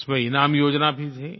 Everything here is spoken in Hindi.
उसमें इनाम योजना भी थी